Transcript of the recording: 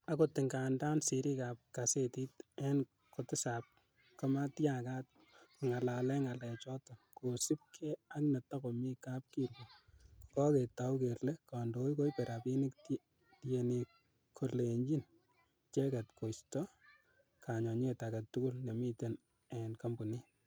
Akot ngandan sirik ab kasetit en kotisap komatyagat kongalalen ngalechoton kosiibge ak netokomi kapkirwok, koketou kele kondoik koibe rabinik tienik kolenyin icheget koisto kanyonyet agetugul nemiten en kompunit.